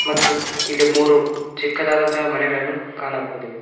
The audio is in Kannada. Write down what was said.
ಮತ್ತು ಇಲ್ಲಿ ಮೂರು ಚಿಕ್ಕದಾದಂತ ಮನೆಗಳನ್ನು ಕಾಣಬಹುದು.